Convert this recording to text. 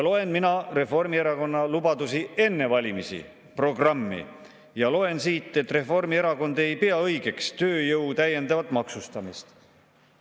Loen mina Reformierakonna lubadusi enne valimisi, nende programmi, ja loen siit, et Reformierakond ei pea õigeks tööjõu täiendavat maksustamist.